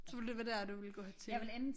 Så ville det være der du ville gå til